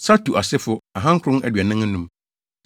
Satu asefo tcr2 945 tc1